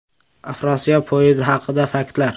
“Afrosiyob” poyezdi haqida faktlar.